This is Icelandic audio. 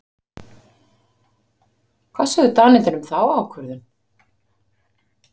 Hvað sögðu Danirnir um þá ákvörðun?